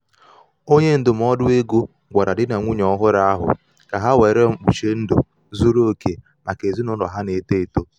onye ndụmọdụ ego gwara di na nwunye ọhụrụ ahụ ka ha were mkpuchi ndụ zuru oke maka ezinụlọ ha na-eto eto